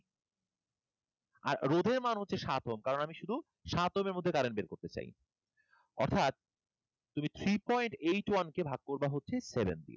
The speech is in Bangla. আর রোধের মান হচ্ছে সাত ওহম কারণ আমি শুধু সাত ওহমের মধ্যে current বের করতে চাই অর্থাৎ তুমি three point eight one কে ভাগ করবা হচ্ছে seven দিয়ে